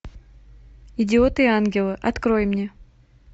идиоты и ангелы открой мне